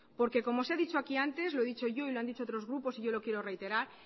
porque como se ha dicho aquí antes lo he dicho yo y lo han dicho otros grupos y yo lo quiero reiterar